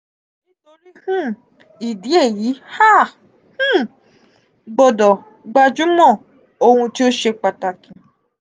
nitori um idi eyi a um gbodo gbajumo ohun ti o se pataki.